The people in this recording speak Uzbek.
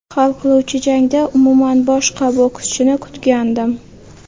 Hal qiluvchi jangda umuman boshqa bokschini kutgandim.